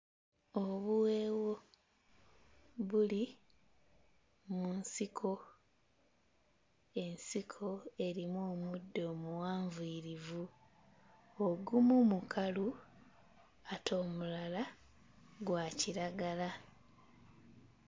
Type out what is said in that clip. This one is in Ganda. Obuweewo buli mu nsiko. Ensiko erimu omuddo omuwanvuyirivu, ogumu mukalu ate omulala gwa kiragala.